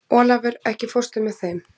Olavur, ekki fórstu með þeim?